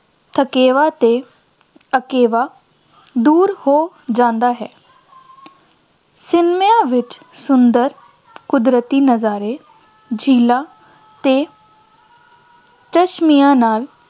ਥਕੇਵਾਂ ਅਤੇ ਅਕੇਵਾਂ ਦੂਰ ਹੋ ਜਾਂਦਾ ਹੈ ਸਿਨੇਮਿਆਂ ਵਿੱਚ ਸੁੰਦਰ ਕੁਦਰਤੀ ਨਜ਼ਾਰੇ, ਝੀਲਾਂ ਅਤੇ ਚਸ਼ਮਿਆਂ ਨਾਲ